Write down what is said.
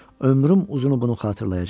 Ömrüm uzunu bunu xatırlayacağam.